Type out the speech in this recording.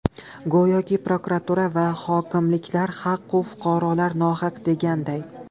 Go‘yoki prokuratura va hokimliklar haq-u, fuqarolar nohaq deganday.